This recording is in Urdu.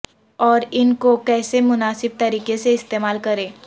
اور ان کو کیسے مناسب طریقے سے استعمال کریں